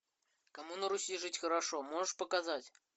кому на руси жить хорошо можешь показать